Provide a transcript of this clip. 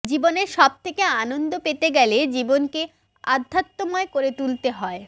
জীবনের সব থেকে আনন্দ পেতে গেলে জীবনকে আধ্যাত্মময় করে তুলতে হয়